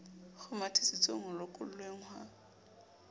a kgomathisitsweng ho lokollweng ha